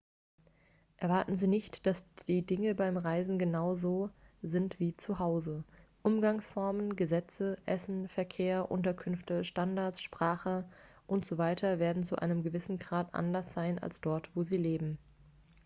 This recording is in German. erwarten sie nicht dass die dinge beim reisen genau so sind wie zu hause umgangsformen gesetze essen verkehr unterkünfte standards spache und so weiter werden zu einem gewissen grad anders sein als dort wo sie leben